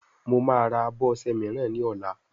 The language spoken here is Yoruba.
Mọ má rà abọ ọṣẹ míràn ní ola